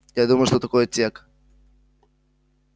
я думаю что такое тёк